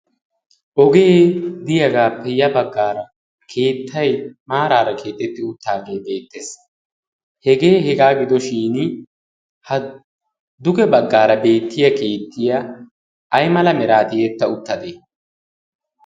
ogee diyaagaa peyiya baggaara keettai maaraara keettetti uttaagee beettees. hegee hegaa gidoshin ha duge baggaara beettiya keettiya ay mala miraatiietta uttadee?